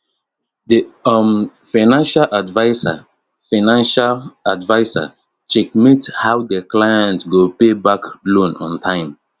the um financial adviser financial adviser checkmate how the client go payback loan in time